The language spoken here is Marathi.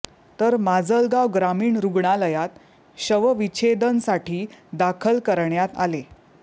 तर माजलगाव ग्रामीण रुग्णालयात शवविच्छेदनसाठी दाखल करण्यात आले